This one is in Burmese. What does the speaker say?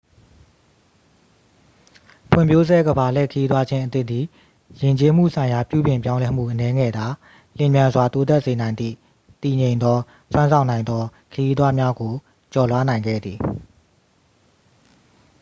ဖွံ့ဖြိုးဆဲ ကမ္ဘာလှည့် ခရီးသွားခြင်းအသစ်သည် ယဉ်ကျေးမှုဆိုင်ရာပြုပြင်ပြောင်းလဲမှု အနည်းငယ်သာ လျင်မြန်စွာ တိုးတက်စေနိုင်သည့် တည်ငြိမ်သော စွမ်းဆောင်နိုင်သော ခရီးသွားများစွာကို ကျော်လွှားနိုင်ခဲ့သည်